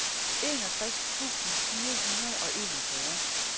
enogtres tusind fire hundrede og enogfyrre